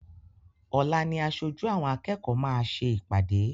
Ọ̀la ni aṣojú àwọn akẹ́kọ̀ọ́ máa ṣe ìpàdé.